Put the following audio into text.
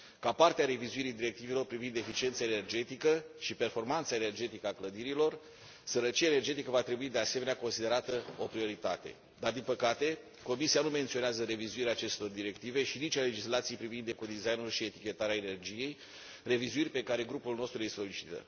Ca parte a revizuirii directivelor privind eficiența energetică și performanța energetică a clădirilor, sărăcia energetică va trebui, de asemenea, considerată o prioritate dar, din păcate, Comisia nu menționează revizuirea acestor directive și nici a legislației privind ecodesign ul și etichetarea energiei, revizuiri pe care grupul nostru le solicită.